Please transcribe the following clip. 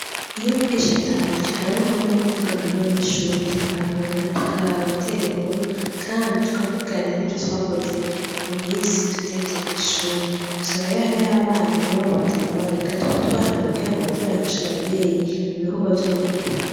Iyo mwigisha ataje hariho umwanya wo kuvugana nabanyeshure , tugahanurana, tugatera inkuru, kandi tukavugana nivyo twakoze mumisi tutagiye kwishure. usanga rero hariho abana iwabo badakora bigatuma tubahanura kugirango baze barafasha abavyeyi mubikotwa vyo muhira.